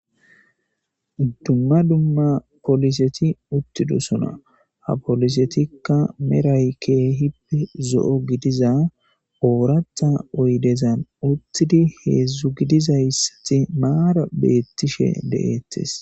Dumma dumma poliseti uttido suna ha polisetikka meray keehip zo7o gidiza ooratha oydezan uttidi heedzdzu gidizayssati maara beettishe de7eettes.